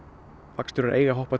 vagnstjórar eiga að hoppa